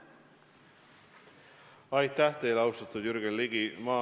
Aitäh teile, austatud Jürgen Ligi!